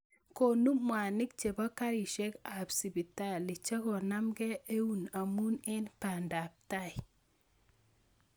Konu mwaniik chebo kariisiekaab sibitalli chekonamkei ewuun amun eng bandaab tai